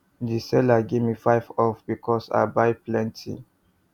the seller gimme five off because i buy plenty